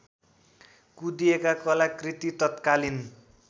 कुँदिएका कलाकृति तत्कालिन